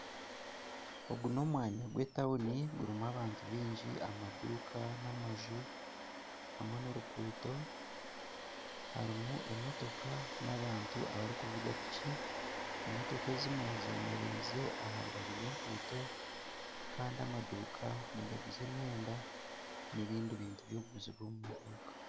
Ogu nomwanya gwetawuni gurimu abantu bingi, amaduka namaju hamwe noruguuto harimu emotoka na bantu abari kuvuga piki emotooka ezimwe zemerize aharubaju rwenguto Kandi amaduuka nigaguza emyenda nebindi bintu ebyokuguzibwa omu maduuka